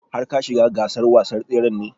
Har ka shiga gasar wasan tsren ne?